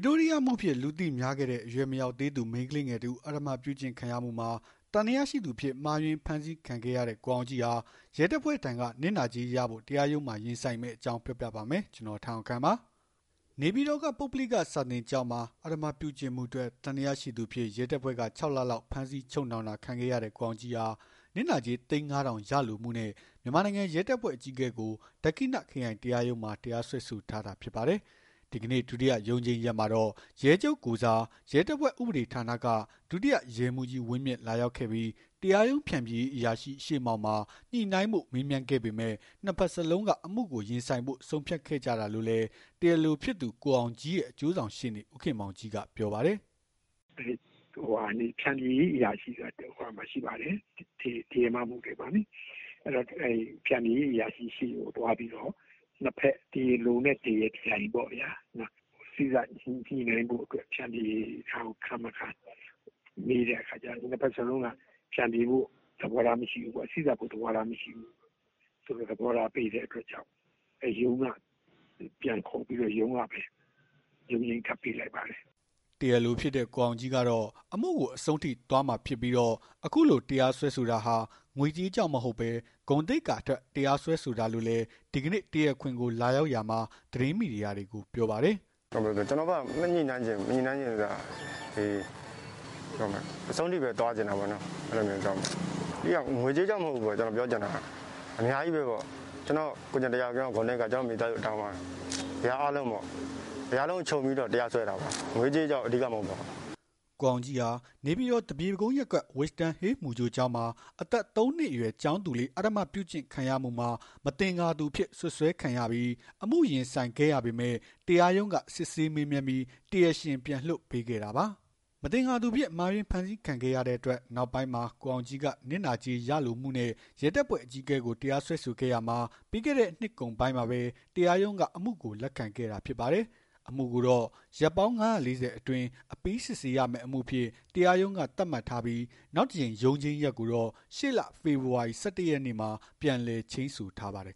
တိုးရီးယားအမှုအဖြစ် လူသိများခဲ့တဲ့ အရွယ်မရောက်သေးသူ မိန်းကလေးငယ်တဦး အဓမ္မပြုကျင့်ခံရမှုမှာ သံသယရှိသူအဖြစ် မှားယွင်းဖမ်းဆီးခံခဲ့ရတဲ့ ကိုအောင်ကြီးဟာ ရဲတပ်ဖွဲ့ထံက နစ်နာကြေးရဖို့ တရားရုံးမှာ ရင်ဆိုင်မယ့်အကြောင်း ပြောပြပါမယ်။ ဗွီအိုအေမြန်မာပိုင်း သတင်းထောက် ကိုထက်အောင်ခန့်က သတင်းပေးပို့ထားပါတယ်။ နေပြည်တော်က ပုဂ္ဂလိက စာသင်ကျောင်းမှာ အဓမ္မပြုကျင့်မှုအတွက် သံသယရှိသူအဖြစ် ရဲတပ်ဖွဲ့က ၆ လလောက် ဖမ်းဆီးချုပ်နှောင်တာ ခံခဲ့ရတဲ့ ကိုအောင်ကြီးဟာ နစ်နာကြေး သိန်း ၅,၀၀၀ ရယူလိုမှုနဲ့ မြန်မာနိုင်ငံရဲတပ်ဖွဲ့ အကြီးအကဲကို ဒက္ခိဏ ခရိုင်တရားရုံးမှာ တရားစွဲဆိုထားတာ ဖြစ်ပါတယ်။ ဒီကနေ့ ဒုတိယ ရုံးချိန်းရက်မှာတော့ ရဲချုပ်ကိုယ်စား ရဲတပ်ဖွဲ့ ဥပဒေဌာနက ဒုတိယရဲမှူးကြီး ဝင်းမြင့် လာရောက်ခဲ့ပြီး တရားရုံး ဖျန်ဖြေရေးအရာရှိ ရှေ့မှောက်မှာ ညှိနှိုင်းဖို့ မေးမြန်းခဲ့ပေမဲ့ နှစ် ဘက်စလုံးက အမှုကို ရင်ဆိုင်ဖို့ ဆုံးဖြတ်ခဲ့ကြတာလို့လည်း တရားလိုဖြစ်သူ ကိုအောင်ကြီးရဲ့ အကျိုးဆောင်ရှေ့နေ ဦးခင်မောင်ကြီးက ပြောပါတယ်။ “ဖျန်ဖြေရေး အရာရှိဆိုတာ ရှိပါတယ်။ တရားမ မှုတွေမှာ ဖျန်ဖြေရေး အရာရှိဆီကို သွားပြီးတော့ ၂ ဘက် တရားလိုနဲ့ တရားပြိုင် ညှိနှိုင်းဖို့အတွက် ဖျန်ဖြေခံ မခံမေးတဲ့အခါကျတော့ ၂ ဘက်စလုံးက စေ့စပ်ဖို့ သဘောထား မရှိဘူး သဘောထားပေးတဲ့အတွက်ကြောင့် ပြန်ခေါ်ပြီးတော့ ရုံးကပဲ ရုံးချိန်းထပ်ပေးလိုက်ပါတယ်။” တရားလိုဖြစ်တဲ့ ကိုအောင်ကြီးကတော့ အမှုကို အဆုံးထိသွားမှာဖြစ်ပြီးတော့ အခုလိုတရားစွဲတာဟာ ငွေကြေးကြောင့် မဟုတ်ဘဲ ဂုဏ်သိက္ခာအတွက် တရားစွဲတာလို့လည်း ဒီကနေ့ တရားခွင်ကို လာရောက်ရာမှာ သတင်းမီဒီယာတွေကို ပြောပါတယ်။ “ကျနော့်ဘက်က မညှိနှိုင်းချင်ဘူး။ မညှိနှိုင်းချင်ဘူးဆိုတာ အဆုံးထိပဲ သွားချင်တယ်ပေါ့နော်။ အဓိကက ငွေကြေးကြောင့် မဟုတ်ဘူးပေါ့။ ကျနော့် ကိုယ့်ကျင့်တရား ကျနော့် ဂုဏ်သိက္ခာ ကျနော့် မိသားစု အသိုင်းအဝိုင်း အရာအားလုံးပေါ့။ အရာအားလုံးကို ခြုံပြီး တရားစွဲတာပေါ့။ ငွေရေး၊ ကြေးရေးကြောင့် အဓိက မဟုတ်ပါဘူး။” ကိုအောင်ကြီးဟာ နေပြည်တော် သပြေကုန်းရပ်ကွပ်က Wisdom Hill မူကြိုကျောင်းမှာ အသက် ၃ နှစ် အရွယ် ကျောင်းသူလေး အဓမ္မပြုကျင့်ခံရမှုမှာ မသင်္ကာသူအဖြစ် စွပ်စွဲဖမ်းဆီးခံခဲ့ရပြီး အမှုရင်ဆိုင်ခဲ့ရပေမဲ့ တရားရုံးက စစ်ဆေးမေးမြန်းပြီး တရားရှင် ပြန်လွှတ်ပေးခဲ့တာပါ။ မသင်္ကာသူအဖြစ် မှားယွင်း ဖမ်းဆီးခံခဲ့ရတဲ့အတွက် နောက်ပိုင်းမှာ ကိုအောင်ကြီးက နစ်နာကြေး ရယူလိုမှုနဲ့ ရဲတပ်ဖွဲ့အကြီးအကဲကို တရားစွဲခဲ့ရာမှာ ပြီးခဲ့တဲ့နှစ်ကုန်ပိုင်းမှာပဲ တရားရုံးက အမှုကို လက်ခံခဲ့တာဖြစ်ပါတယ်။ အမှုကိုတော့ ရက်ပေါင်း ၅၄၀ အတွင်း အပြီး စစ်ဆေးမယ့်အမှုအဖြစ် တရားရုံးက သတ်မှတ်ထားပြီး နောက်တကြိမ် ရုံးချိန်းရက်ကိုတော့ ရှေ့လ ဖော်ဖော်ဝါရီ ၁၁ ရက်နေ့မှာ ပြန်လည်ချိန်းဆိုထားပါတယ်